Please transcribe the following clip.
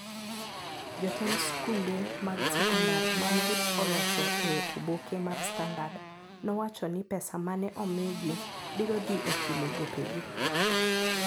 Jotend skunde mag sekondar mane oloso e oboke mar standard nowacho ni pesa mane omigii brio dhi e chule gope gi